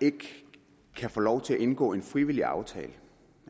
ikke kan få lov til at indgå en frivillig aftale